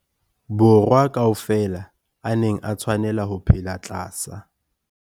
Borwa ka ofela a neng a tshwanela ho phela tlasa.